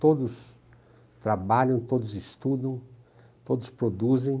Todos trabalham, todos estudam, todos produzem.